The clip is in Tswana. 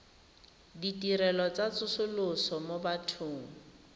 ditirelo tsa tsosoloso mo bathong